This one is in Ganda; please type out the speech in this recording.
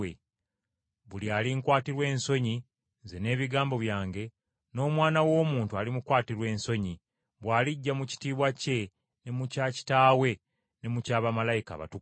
Buli alinkwatirwa ensonyi, nze n’ebigambo byange, n’Omwana w’Omuntu, alimukwatirwa ensonyi, bw’alijja mu kitiibwa kye ne mu kya Kitaawe ne mu kya bamalayika abatukuvu.